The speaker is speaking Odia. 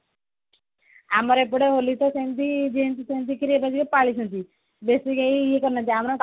ଆମର ଏପଟେ ହୋଲି ତ ସେମିତି ଯେମିତି ସେମିତି ଟିକେ ପାଳୁଛନ୍ତି ବେସୀ ଏଇ ଇଏ କରି ନାହାନ୍ତି